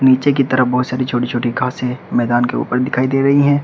नीचे की तरफ बहोत सारी छोटी छोटी घासे मैदान के ऊपर दिखाई दे रही है।